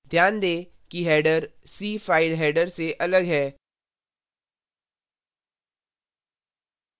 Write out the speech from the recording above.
ध्यान दें कि header c file header से अलग है